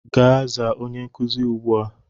Gaa zaa onye nkuzi ugbua!